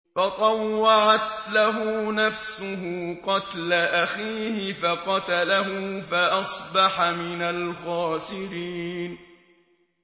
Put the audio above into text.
فَطَوَّعَتْ لَهُ نَفْسُهُ قَتْلَ أَخِيهِ فَقَتَلَهُ فَأَصْبَحَ مِنَ الْخَاسِرِينَ